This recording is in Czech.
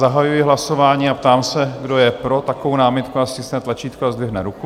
Zahajuji hlasování a ptám se, kdo je pro takovou námitku, ať stiskne tlačítko a zdvihne ruku.